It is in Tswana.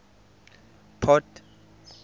port